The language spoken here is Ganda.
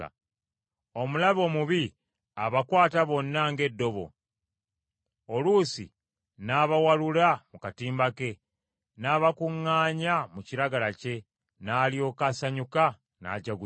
Omulabe omubi abakwata bonna ng’eddobo, oluusi n’abawalula mu katimba ke, n’abakuŋŋaanya mu kiragala kye n’alyoka asanyuka n’ajaguza.